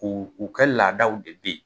U u kɛ laadaw de be yen